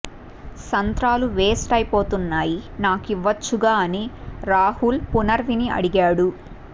సంత్రాలు waste అయిపోతున్నాయి నాకివ్వచ్చుగా అని రాహుల్ పునర్నవి ని అడిగాడు